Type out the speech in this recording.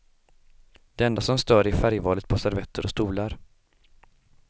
Det enda som stör är färgvalet på servetter och stolar.